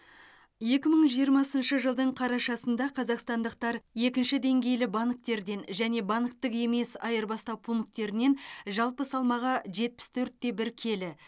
екі мың жиырмасыншы жылдың қарашасында қазақстандықтар екінші деңгейлі банктерден және банктік емес айырбастау пунктерінен жалпы салмағы жетпіс төрт те бір келі